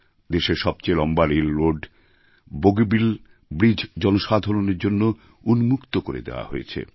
দেশের সবচেয়ে লম্বা রেলরোড বোগিবিল ব্রিজ জনসাধারণের জন্য উন্মুক্ত করে দেওয়া হয়েছে